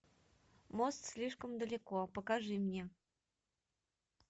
мост слишком далеко покажи мне